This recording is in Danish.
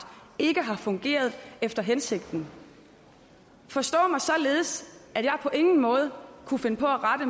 ikke har fungeret efter hensigten forstå mig således at jeg på ingen måde kunne finde på at rette